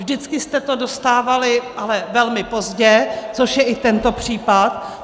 Vždycky jste to dostávali ale velmi pozdě, což je i tento případ.